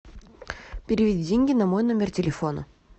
переведи деньги на мой номер телефона